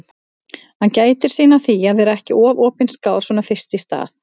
Hann gætir sín á því að vera ekki of opinskár svona fyrst í stað.